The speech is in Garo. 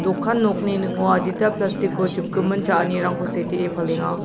dokan nokni ning·o adita plastik o chipgimin cha·anirangko setee palenga.